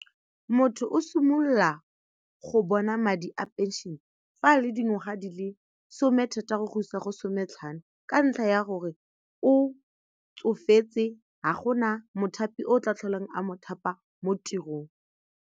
Motho o simolola go bona madi a pension-e fa a le dingwaga di le somethataro go isa go sometlhano ka ntlha ya gore o tsofetse ga gona mothapi o tla tlholang a mothapa mo tirong.